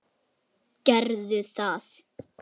Gerðu það.